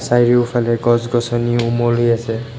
চাৰিওফালে গছ গছনিও ওমলি আছে।